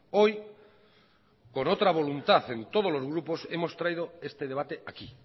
hoy por otra voluntad en todos los grupos hemos traído este debate aquí